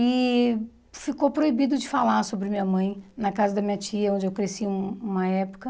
E ficou proibido de falar sobre minha mãe na casa da minha tia, onde eu cresci um uma época.